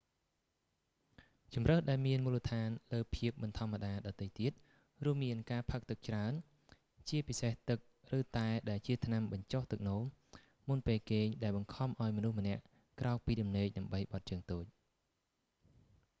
ជម្រើសដែលមានមូលដ្ឋានលើភាពមិនធម្មតាដទៃទៀត រួមមានការផឹកទឹកច្រើន ជាពិសេសទឹក ឬតែ ដែលជាថ្នាំបញ្ចុះទឹកនោម មុនពេលគេង ដែលបង្ខំឱ្យមនុស្សម្នាក់ក្រោកពីដំណេកដើម្បីបត់ជើងតូច